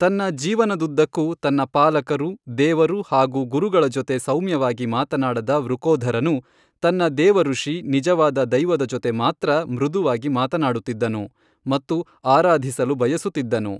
ತನ್ನ ಜೀವನದುದ್ದಕ್ಕೂ ತನ್ನ ಪಾಲಕರು, ದೇವರು ಹಾಗೂ ಗುರುಗಳ ಜೊತೆ ಸೌಮ್ಯವಾಗಿ ಮಾತನಾಡದ ವೃಕೋಧರನು ತನ್ನ ದೇವ ರುಷಿ, ನಿಜವಾದ ದೈವದ ಜೊತೆ ಮಾತ್ರ ಮೃದುವಾಗಿ ಮಾತನಾಡುತ್ತಿದ್ದನು ಮತ್ತು ಆರಾಧಿಸಲು ಬಯಸುತ್ತಿದ್ದನು.